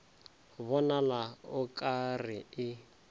bonala o ka re e